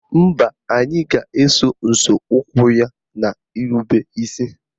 Mba, anyị ga-eso nzọụkwụ ya n'irube isi